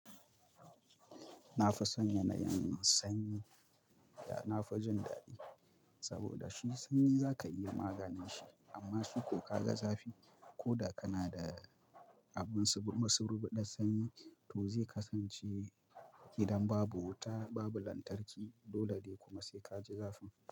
Na fi san yana yin sanyi da na fi jin daɗi saboda shi sanyi za ka iya maganin shi amma shuku ka ga zafi ko da kana da abun masubuɗar sanyi to zai kasance idan babu wuta babu lantarki dole dai kuma sai ka ji zafin.